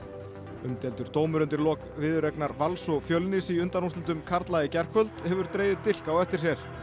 umdeildur dómur undir lok viðureignar Vals og Fjölnis í undanúrslitum karla í gærkvöld hefur dregið dilk á eftir